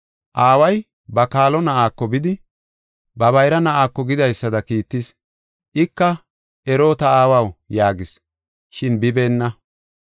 Aaway ba kaalo na7aako bidi, ba bayra na7aako gidaysada kiittis. Ika, ‘Ero, ta aawaw’ yaagis. Shin bibeenna.